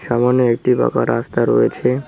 সামনে একটি পাকা রাস্তা রয়েছে।